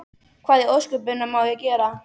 Hvað í ósköpunum á ég að gera?